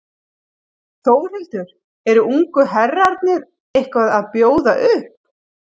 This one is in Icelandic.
Þórhildur: Eru ungu herrarnir eitthvað að bjóða upp?